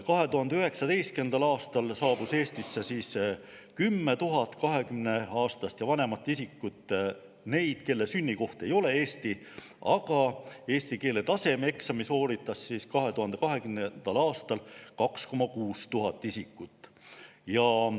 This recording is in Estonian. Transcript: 2019. aastal saabus Eestisse 10 000 kahekümneaastast või vanemat isikut, kelle sünnikoht ei ole Eesti, aga eesti keele tasemeeksami sooritas 2020. aastal 2600 isikut.